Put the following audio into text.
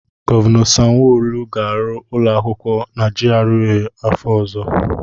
Gọvanọ Sanwo-Olu ga-arụ ụlọakwụkwọ na GRA afọ ọzọ.